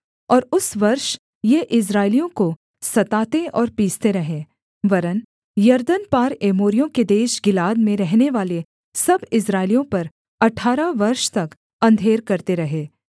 और उस वर्ष ये इस्राएलियों को सताते और पीसते रहे वरन् यरदन पार एमोरियों के देश गिलाद में रहनेवाले सब इस्राएलियों पर अठारह वर्ष तक अंधेर करते रहे